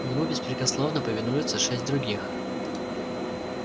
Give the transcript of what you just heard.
ему беспрекословно повинуются шесть других